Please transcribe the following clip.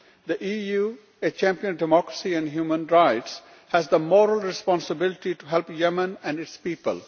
The EU, a champion of democracy and human rights, has the moral responsibility to help Yemen and its people.